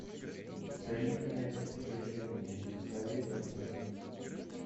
взаимное притяжение посоветуй мне